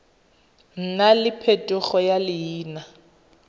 nna le phetogo ya leina